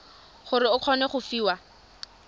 gore o kgone go fiwa